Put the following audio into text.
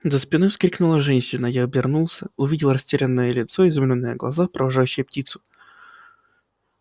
за спиной вскрикнула женщина я обернулся увидел растерянное лицо изумлённые глаза провожающие птицу